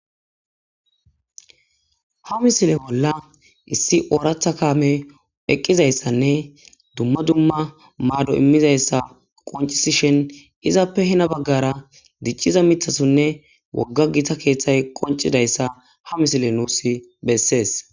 Ha misile bolla issi ooratha kaame eqqizayssanne dumma dumma maado immizayssa qoncisishen izappe hena baggara dicciza mithasonne wogga gita keeththay qoncidayssa ha misile nuus bessees.